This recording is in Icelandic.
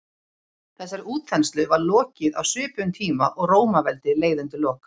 þessari útþenslu var lokið á svipuðum tíma og rómaveldi leið undir lok